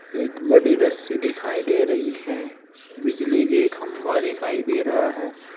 एक बड़ी रस्सी दिखाई दे रही है बिजली के खंभा दिखाई दे रहा है।